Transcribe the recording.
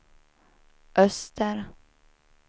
öster